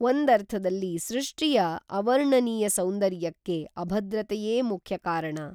ಒಂದರ್ಥದಲ್ಲಿ ಸೃಷ್ಟಿಯ ಅವರ್ಣನೀಯ ಸೌಂದರ್ಯಕ್ಕೆ ಅಭದ್ರತೆಯೇ ಮುಖ್ಯ ಕಾರಣ.